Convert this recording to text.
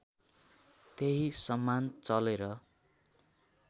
त्यही सम्मान चलेर